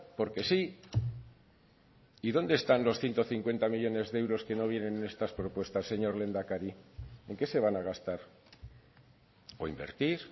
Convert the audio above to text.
porque sí y dónde están los ciento cincuenta millónes de euros que no vienen en estas propuestas señor lehendakari en qué se van a gastar o invertir